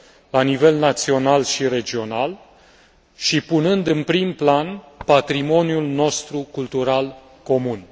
la nivel național și regional și punând în prim plan patrimoniul nostru cultural comun.